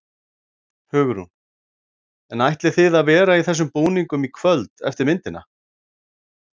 Hugrún: En ætlið þið að vera í þessum búningum í kvöld eftir myndina?